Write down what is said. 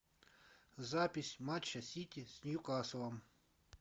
запись матча сити с ньюкаслом